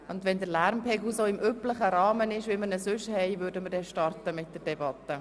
Und wenn der Lärmpegel auf den üblichen Rahmen sinkt, starten wir mit der Debatte.